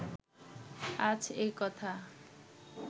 আজ এ-কথা